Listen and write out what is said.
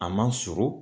A ma surun